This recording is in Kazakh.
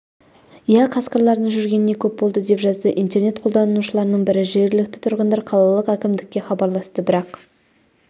иә қасқырлардың жүргеніне көп болды деп жазды интернет қолданушыларының бірі жергілікті тұрғындар қалалық әкімдікке хабарласты бірақ